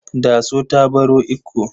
Daso ta baro Ikko.